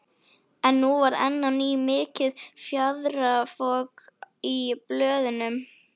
En nú varð enn á ný mikið fjaðrafok í blöðunum.